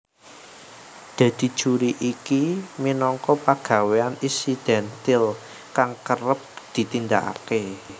Dadi juri iki minangka pagawéyan insidentil kang kerep ditindakake